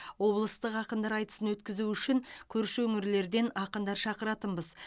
облыстық ақындар айтысын өткізу үшін көрші өңірлерден ақындар шақыратынбыз